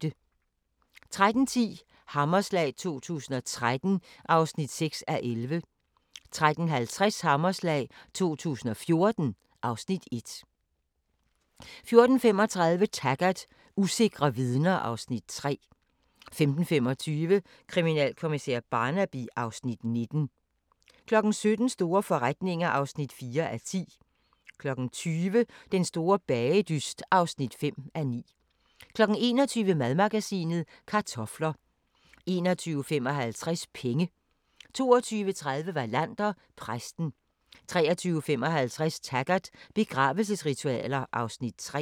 13:10: Hammerslag 2013 (6:11) 13:50: Hammerslag 2014 (Afs. 1) 14:35: Taggart: Usikre vidner (Afs. 3) 15:25: Kriminalkommissær Barnaby (Afs. 19) 17:00: Store forretninger (4:10) 20:00: Den store bagedyst (5:9) 21:00: Madmagasinet: Kartofler 21:55: Penge 22:30: Wallander: Præsten 23:55: Taggart: Begravelsesritualer (Afs. 3)